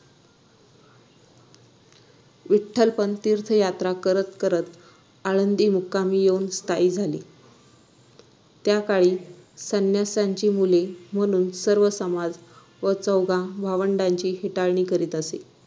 विठ्ठलपंत तीर्थयात्रा करत करत आळंदी मुक्कामी येऊन स्थायिक झाले त्या काळी संन्यासाची मुले म्हणून सर्व समाज या चौघा भावंडाची हेटाळणी करीत असे